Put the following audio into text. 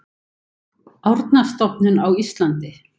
Árnastofnun á Íslandi.